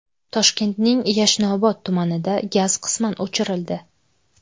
Toshkentning Yashnobod tumanida gaz qisman o‘chirildi.